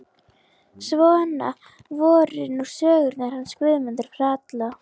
Svona voru nú sögurnar hans Guðmundar ralla.